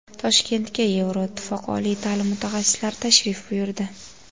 Toshkentga Yevroittifoq oliy ta’lim mutaxassislari tashrif buyurdi.